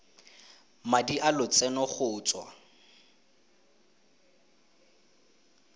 madi a lotseno go tswa